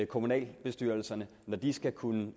kommunalbestyrelserne når de skal kunne